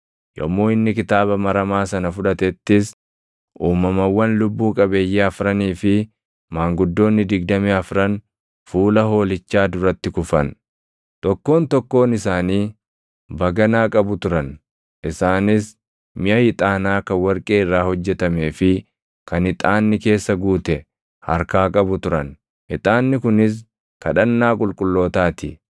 Yommuu inni kitaaba maramaa sana fudhatettis uumamawwan lubbuu qabeeyyii afranii fi maanguddoonni digdamii afran fuula Hoolichaa duratti kufan. Tokkoon tokkoon isaanii baganaa qabu turan; isaanis miʼa ixaanaa kan warqee irraa hojjetamee fi kan ixaanni keessa guute harkaa qabu turan; ixaanni kunis kadhannaa qulqullootaa ti.